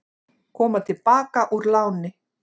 Koma til baka úr láni